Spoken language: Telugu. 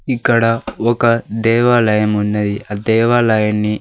ఇక్కడ ఒక దేవాలయం ఉన్నది ఆ దేవాలయాన్ని.